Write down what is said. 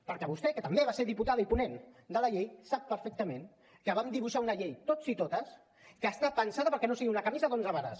perquè vostè que també va ser diputada i ponent de la llei sap perfectament que vam dibuixar una llei tots i totes que està pensada perquè no sigui una camisa d’onze vares